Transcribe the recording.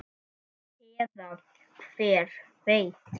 Eða hver veit?